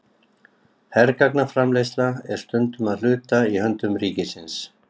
Hergagnaframleiðsla er stundum að hluta í höndum ríkisins.